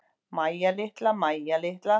Mæja litla, Mæja litla.